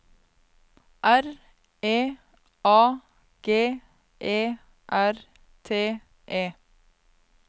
R E A G E R T E